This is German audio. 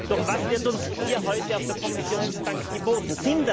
Doch was wird uns hier heute auf der Kommissionsbank geboten?